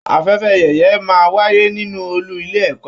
Afẹ́fẹ́ yẹ̀yẹ̀ máa n wáyé nínú ọọlú ilé ẹ̀kọ́.